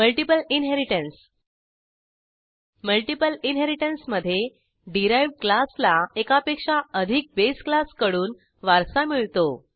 multiple inheritance multiple इनहेरिटन्समधे derived क्लासला एकापेक्षा अधिक बेस क्लासकडून वारसा मिळतो